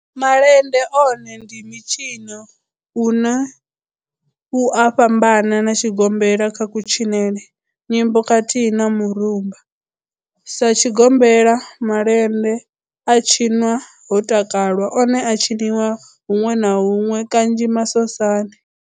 Malende one ndi mitshino une u a fhambana na tshigombela kha kutshinele, nyimbo khathihi na mirumba. Sa tshigombela, malende a tshinwa ho takalwa, one a a tshiniwa hunwe na hunwe kanzhi masosani.